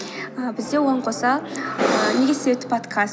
ііі бізде оған қоса неге подкаст